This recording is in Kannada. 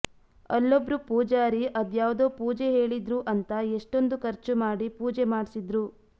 ಅಲ್ಲೊಬ್ರು ಪೂಜಾರಿ ಅದ್ಯಾವ್ದೋ ಪೊಜೆ ಹೇಳಿದ್ರು ಅಂತ ಎಷ್ಟೊಂದು ಖರ್ಚು ಮಾಡಿ ಪೂಜೆ ಮಾಡ್ಸಿದ್ರು